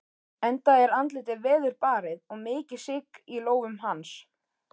Enda er andlitið veðurbarið og mikið sigg í lófum hans.